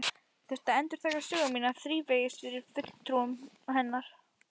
Ég þurfti að endurtaka sögu mína þrívegis fyrir fulltrúum hennar.